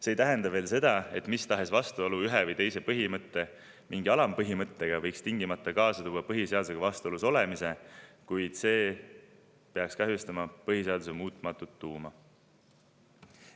See ei tähenda veel seda, et mis tahes vastuolu ühe või teise põhimõtte mingi alampõhimõttega võiks tingimata kaasa tuua põhiseadusega vastuolus olemise, vaid see peaks kahjustama põhiseaduse muutumatut tuuma.